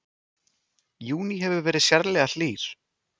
Júní hefur verið sérlega hlýr